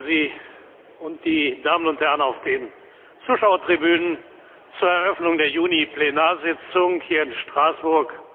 Ich begrüße Sie und die Damen und Herren auf den Zuschauertribünen zur Eröffnung der Juni Plenarsitzung hier in Straßburg.